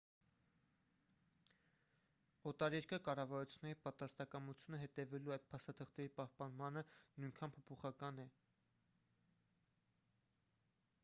օտարերկրյա կառավարությունների պատրաստակամությունը հետևելու այդ փաստաթղթերի պահպանմանը նույնքան փոփոխական է